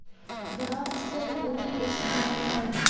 Biroq sen uni eshitmaysan!